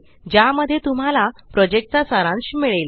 ज्या मध्ये तुम्हाला प्रोजेक्ट चा सारांश मिळेल